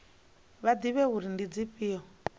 vha ḓivhe uri ndi dzifhio